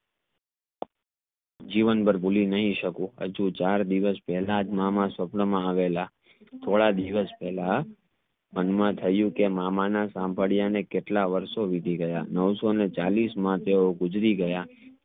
જીવન ભાર ભૂલી નહીં સકું ચાર દિવસ પહલાજ મામા સપના માં આવેલા. થોડા દિવસ પેહલા મામા ના સંબડ્યા ને કેટલા વારસો વીતી ગયા નવસો ને ચાલીસ માં તેઓ ગુજરી ગયા